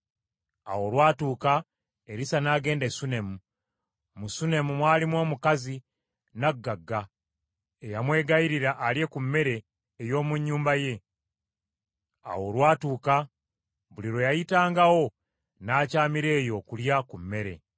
Awo olwatuuka Erisa n’agenda e Sunemu. Mu Sunemu mwalimu omukazi nnaggagga, eyamwegayirira alye ku mmere ey’omu nnyumba ye. Awo olwatuuka, buli lwe yayitangawo, n’akyamira eyo okulya ku mmere.